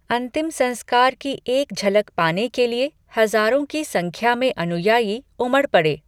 अंतिम संस्कार की एक झलक पाने के लिए हजारों की संख्या में अनुयायी उमड़ पड़े।